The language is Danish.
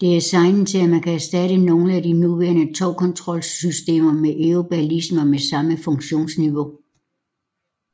Det er designet til at man kan erstatte nogle af de nuværende togkontrolsystemer med Eurobaliser med samme funktionsniveau